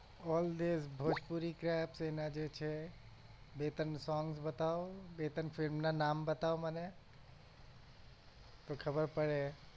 all દેવ ભોજપૂરી ના જે છે બે ત્રણ song બતાવ બે ત્રણ film ના નામ બતાવ મને તો ખબર પડે